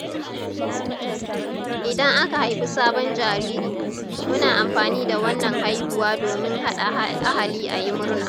Idan aka haifi sabon jariri, muna amfani da wannan haihuwa domin haɗa ahali ayi murna.